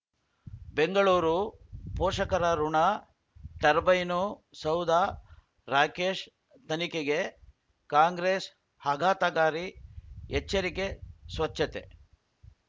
ಬೆಂಗಳೂರು ಪೋಷಕರಋಣ ಟರ್ಬೈನು ಸೌಧ ರಾಕೇಶ್ ತನಿಖೆಗೆ ಕಾಂಗ್ರೆಸ್ ಆಘಾತಕಾರಿ ಎಚ್ಚರಿಕೆ ಸ್ವಚ್ಛತೆ